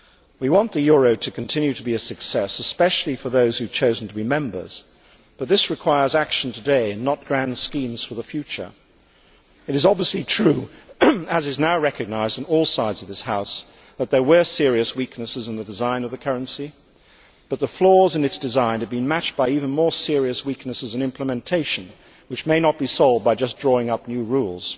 We want the euro to continue to be a success, especially for those who have chosen to be members, but this requires action today and not grand schemes for the future. It is obviously true, as is now recognised on all sides of this House, that there were serious weaknesses in the design of the currency, but the flaws in its design have been matched by even more serious weaknesses in implementation, which may not be solved by just drawing up new rules.